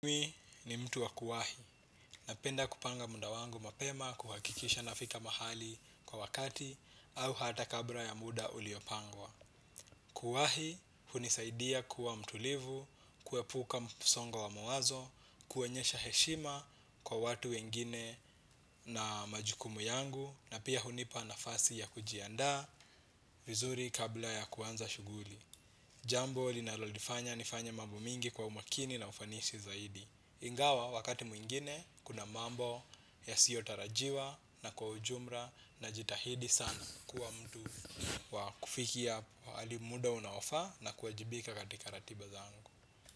Mimi ni mtu wa kuwahi, napenda kupanga muda wangu mapema, kuhakikisha nafika mahali kwa wakati, au hata kabla ya muda uliopangwa. Kuwahi, hunisaidia kuwa mtulivu, kuepuka msongo wa mawazo, kuonyesha heshima kwa watu wengine na majukumu yangu, na pia hunipa nafasi ya kujianda vizuri kabla ya kuanza shuguli. Jambo linalolifanya nifanya mamvo mingi kwa umakini na ufanisi zaidi. Ingawa wakati mwingine kuna mambo yasiyotarajiwa na kwa ujumla najitahidi sana kuwa mtu wa kufikia pahali muda unaofa na kuajibika katika ratiba zangu.